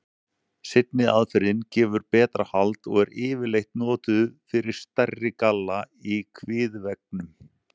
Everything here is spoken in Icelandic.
Seinni aðferðin gefur betra hald og er yfirleitt notuð fyrir stærri galla í kviðveggnum.